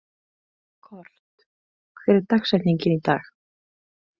Kort, hver er dagsetningin í dag?